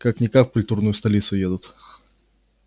как-никак в культурную столицу едут